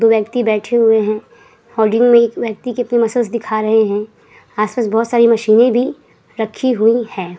दो व्यक्ति बैठे हुए हैं। में एक व्यक्ति के अपने मसल्स दिखा रहे है। आस-पास बहोत-सी मशीनें भी रखी हुई हैं।